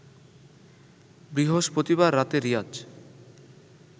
বৃহস্পতিবার রাতে রিয়াজ